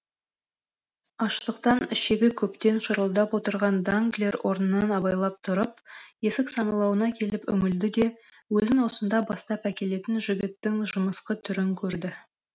аштықтан ішегі көптен шұрылдап отырған данглер орнынан абайлап тұрып есік саңылауына келіп үңілді де өзін осында бастап әкелетін жігіттің жымысқы түрін көрді